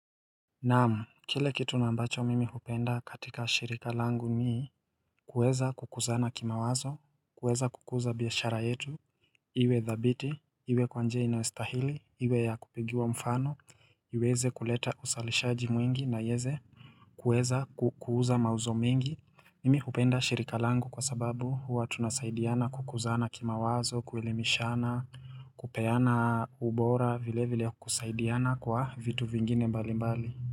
Naam, kile kitu na ambacho mimi hupenda katika shirika langu ni kuweza kukuzana kimawazo, kuweza kukuza biashara yetu Iwe dhabiti, iwe kwa njia inayostahili, iwe ya kupigiwa mfano, iweze kuleta usalishaji mwingi na ieze kueza ku kuuza mauzo mengi Mimi hupenda shirika langu kwa sababu huwa tunasaidiana kukuzana kimawazo, kuelimishana kupeana ubora vile vile kusaidiana kwa vitu vingine mbali mbali.